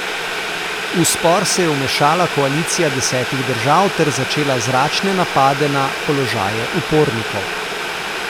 V spor se je vmešala koalicija desetih držav ter začela zračne napade na položaje upornikov.